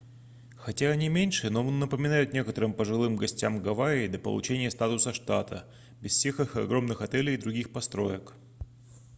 хотя они меньше но напоминают некоторым пожилым гостям гавайи до получения статуса штата без всех их огромных отелей и других построек